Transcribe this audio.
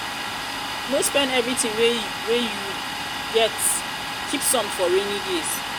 no spend everything wey you wey you get keep some for rainy days